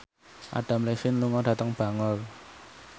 Adam Levine lunga dhateng Bangor